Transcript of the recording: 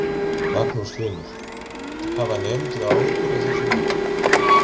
Magnús Hlynur: Hafa nemendur áhyggjur af þessu máli?